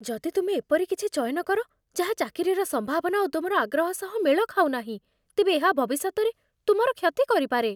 ଯଦି ତୁମେ ଏପରି କିଛି ଚୟନ କର ଯାହା ଚାକିରିର ସମ୍ଭାବନା ଓ ତୁମର ଆଗ୍ରହ ସହ ମେଳ ଖାଉନାହିଁ, ତେବେ ଏହା ଭବିଷ୍ୟତରେ ତୁମର କ୍ଷତି କରିପାରେ।